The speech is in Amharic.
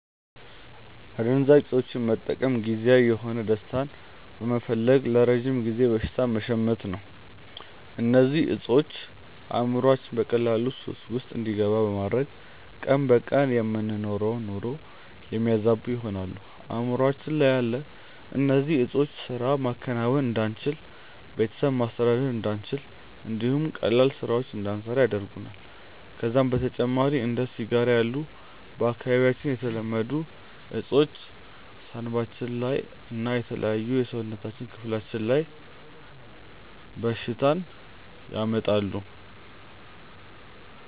አደንዛዥ እፆችን መጠቀም ጊዜያዊ የሆነ ደስታን በመፈለግ ለረጅም ጊዜ በሽታን መሸመት ነው። እነዚህ እፆች አእምሮአችንን በቀላሉ ሱስ ውስጥ እንዲገባ በማድረግ ቀን በቀን የምንኖረውን ኑሮ የሚያዛቡ ይሆናሉ። አእምሮአችን ያለ እነዚህ ዕጾች ስራ ማከናወን እንዳንችል፣ ቤተሰብ ማስተዳደር እንዳንችል እንዲሁም ቀላል ስራዎችን እንዳንሰራ ያደርገናል። ከዛም በተጨማሪ እንደ ሲጋራ ያሉ በአካባቢያችን የተለመዱ እፆች ሳንባችን ላይ እና የተለያዩ የሰውነታችን ክፍሎች ላይ በሽታን ያመጣሉ።